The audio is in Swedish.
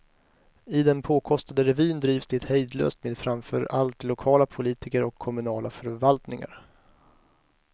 I den påkostade revyn drivs det hejdlöst med framför allt lokala politiker och kommunala förvaltningar.